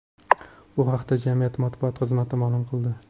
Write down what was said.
Bu haqda jamiyat matbuot xizmati ma’lum qildi .